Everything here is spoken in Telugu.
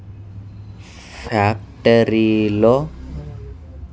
ఫ్యాక్టరీ లో.